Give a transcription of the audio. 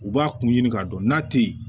U b'a kun ɲini k'a dɔn n'a tɛ ye